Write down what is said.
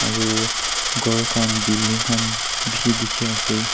aru ghor khan building khan bishi dikhi ase.